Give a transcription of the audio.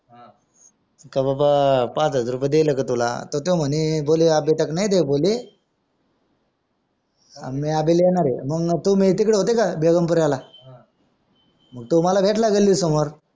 का बाबा पाच हजार रुपय देईले ला तुला तर त्यो म्हणे मंग तुम्ही तिकडे होते का बेगमपुरायला तो मला भेटला गली समोर